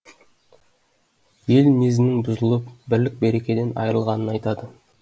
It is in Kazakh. ел мінезінің бұзылып бірлік берекеден айырылғанын айтады